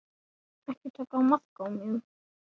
Ekki taka mark á mér.